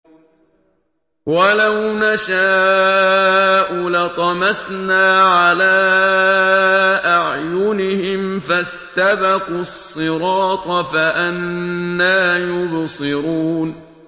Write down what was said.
وَلَوْ نَشَاءُ لَطَمَسْنَا عَلَىٰ أَعْيُنِهِمْ فَاسْتَبَقُوا الصِّرَاطَ فَأَنَّىٰ يُبْصِرُونَ